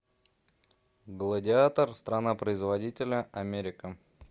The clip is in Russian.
гладиатор страна производителя америка